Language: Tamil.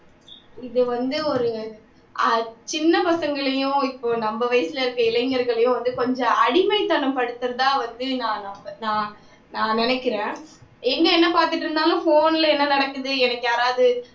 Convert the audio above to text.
இது வந்து ஒரு சின்ன பசங்களையும் நம்ம வயசுல இருக்கிற இளைஞர்களையும் இது கொஞ்சம் அடிமைத்தனம்படுத்துறதா வந்து நான் நம் நான் நினைக்கிறேன் எங்க என்ன பாத்துட்டு இருந்தாலும் phone ல என்ன நடக்குது எனக்கு யாராவது